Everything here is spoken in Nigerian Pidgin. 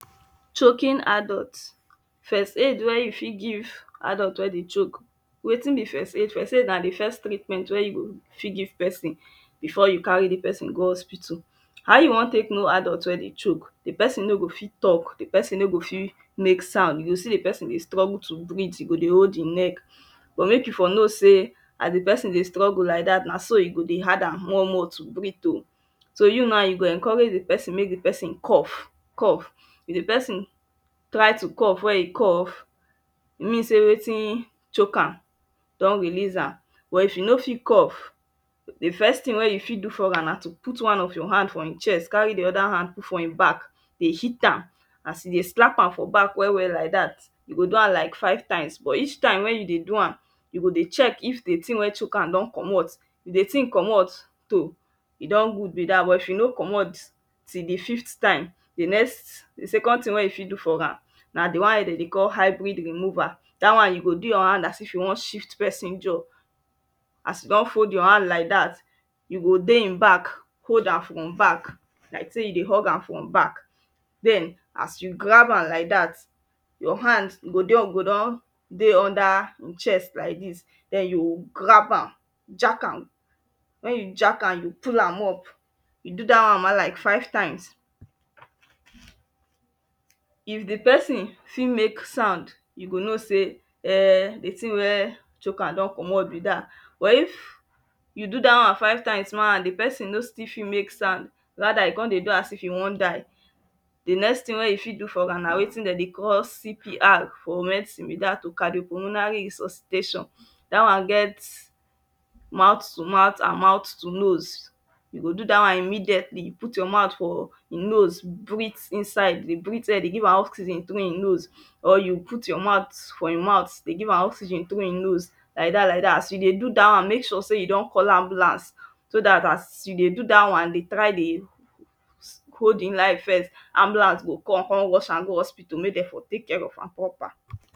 Choking Adults First aid wey you fit give adult wey dey choke. Wetin be first aid? First aid na the first treatment wey you go fit give person before you carry person go hospital. How you wan take know adult wey dey choke? The person no go fit talk, the person no go fit make sound. You go see the person dey struggle to breathe, e go dey hold him neck but when you for know say as the person dey struggle like that, na so e go hard am more more to breathe um So you ma you go encourage the person make the person cough, if dey person try to cough when e cough mean say wetin choke am don release am but e for no fit cough, the first thing wey e fit do for am na to put one of your hand for him chest carry the other hand put for him back dey hit am, as e dey slap am for back well well like that, you go do am like five times but each time wey you dey do am, you go dey check if the thing wey chock am don comot if the thing commot toh, e don good be that but if e no commot, till the fifth time, the next, the second thing wey you fit do for am na the one wey dem dey call hybrid removal, that one you go do your hand as if you wan shift person jaw As you don fold your hand like that you go dey him back hold am from back like sey you dey hug am from back then as you grab am like that your hand go dey, go don dey under him chest like this then you grab am, jack am. When you jack am, you pull am up, you do that one like five times If the person fit make sound you go know sey um the thing wey chock am don comot be that. But if you do that one five times and the person no still fit make sound, rather e come dey do as if e wan die, the next thing wey e fit do for am na wetin Dem dey call CPR for medicine be that um cardiopulmonary resuscitation. That one get mouth to mouth and mouth to nose You go do that one immediately. Put your mouth for him nose, breathe inside, breathe air dey give am oxygen through him nose or you put your mouth for him mouth dey give am oxygen through him nose like that like that. As you dey do that one, make sure say you don call ambulance so that as you dey do that one, dey try dey hold him life first, ambulance go come come rush am go hospital to make Dem for take care of am proper